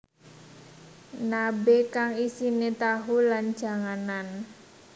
Nabe kang isine tahu lan janganan